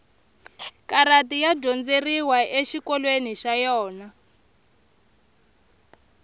karati ya dyondzeriwa exikolweni xa yona